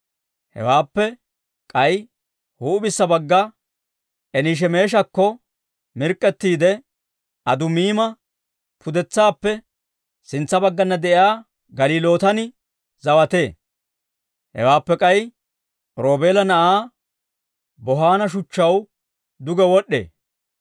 Hewaappe k'ay huup'issa bagga Enishemeeshakko mirk'k'ettiide, Adumiima pudetsaappe sintsa baggana de'iyaa Galilootan zawatee; hewaappe k'ay Roobeela na'aa Bohaana shuchchaw duge wod'd'ee.